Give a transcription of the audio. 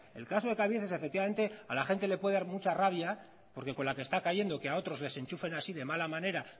el caso de cabieces efectivamente a la gente le puede dar mucha rabia porque con la que está cayendo que a otros les enchufen así de mala manera